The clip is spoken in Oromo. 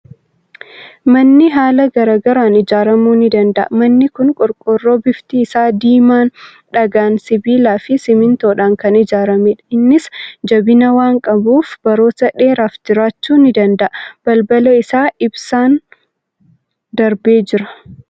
Manni haala garaa garaan ijaaramuu ni danda'a. Manni kun qorqoorroo bifti isaa diimaan, dhagaadhaan, sibiilaa fi simmintoodhaan kan ijaaramedha. Innis jabina waan qabuuf baroota dheeraaf jiraachuu ni danda'a. Balbala isaa ibsaan darbee jira.